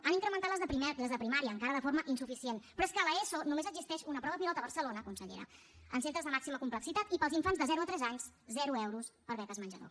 han incrementat les de primària encara de forma insuficient però és que a l’eso només existeix una prova pilot a barcelona consellera en centres de màxima complexitat i per als infants de zero a tres anys zero euros per a beques menjador